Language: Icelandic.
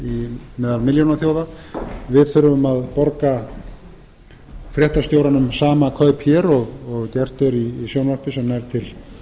þarf meðal milljónaþjóða við þurfum að borga fréttastjóranum sama kaup hér og gert er í sjónvarpi sem nær til